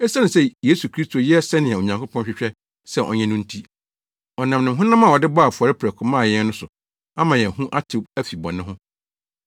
Esiane sɛ Yesu Kristo yɛɛ sɛnea Onyankopɔn hwehwɛ sɛ ɔnyɛ no nti, ɔnam ne honam a ɔde bɔɔ afɔre prɛko maa yɛn no so ama yɛn ho atew afi bɔne ho.